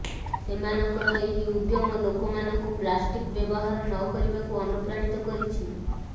ସେମାନଙ୍କର ଏହି ଉଦ୍ୟମ ଲୋକମାନଙ୍କୁ ପ୍ଲାଷ୍ଟିକ ବ୍ୟବହାର ନ କରିବାକୁ ଅନୁପ୍ରାଣିତ କରିଛି